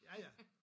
Ja ja